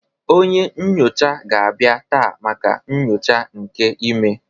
Onye nyocha ga-abịa taa maka nyocha nke imee